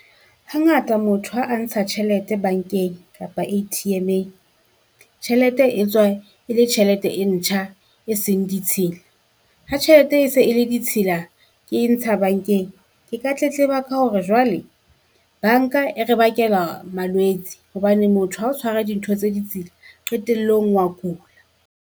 Hangata motho ha a ntsha tjhelete bankeng kapa A_T_M-eng, tjhelete e tswa e le tjhelete e ntjha e seng ditshila, Ha tjhelete e se e le ditshila, ke e ntsha bankeng. Ke ka tletleba ka hore jwale banka e re bakela malwetse, hobane motho ha o tshwara dintho tse ditsila qetellong wa kula.